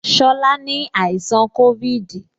Shola ni àìsàn covid